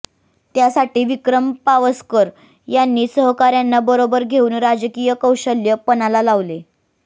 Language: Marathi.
त्यासाठी विक्रम पावसकर यांनी सहकाऱ्यांना बरोबर घेऊन राजकीय कौशल्य पणाला लावले